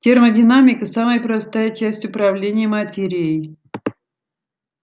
термодинамика самая простая часть управления материей